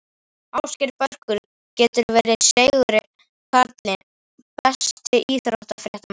Ásgeir Börkur getur verið seigur kallinn Besti íþróttafréttamaðurinn?